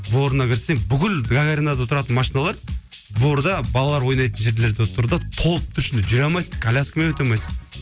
дворына кірсең бүкіл гагаринада тұратын машиналар дворда балалар ойнайтын жерлерде тұр да толып тұр ішінде жүре алмайсың коляскамен өте алмайсың